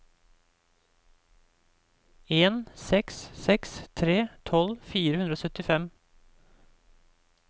en seks seks tre tolv fire hundre og syttifem